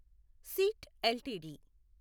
seat LTD